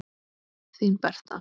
Þín Berta.